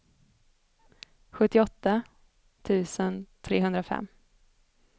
sjuttioåtta tusen trehundrafem